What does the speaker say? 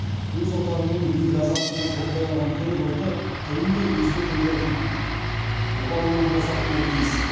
өз отанының биік азаттығын қорғай алған түрік ұлты тілін де өзге тілдердің бұғауынан босатуы тиіс